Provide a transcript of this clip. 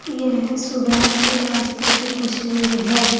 यह सुबह के नाश्ते की तस्वीर है।